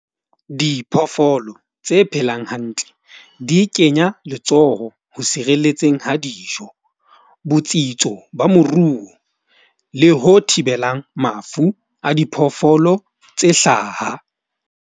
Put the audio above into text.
Diphoofolo tse phelang hantle di kenya letsoho ho sireletseng ha dijo. Botsitso ba moruo, le ho thibelang mafu a diphoofolo tse hlaha.